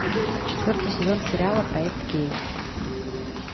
четвертый сезон сериала проект кей